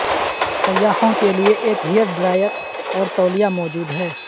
سیاحوں کے لئے ایک ہیئر ڈرائر اور تولیہ موجود ہے